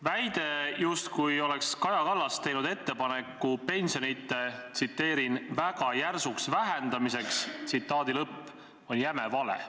Väide, justkui oleks Kaja Kallas teinud ettepaneku pensionide "väga järsuks vähendamiseks", on jäme vale!